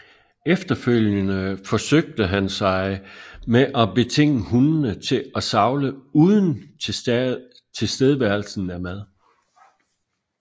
Efterfølgende forsøgte han sig ad med at betinge hundene til at savle uden tilstedeværelsen af mad